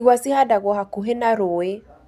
Igwa cihandagwo hakuhĩ na rũũĩ